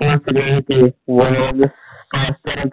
अशोक या सगळ्याचे वर्णन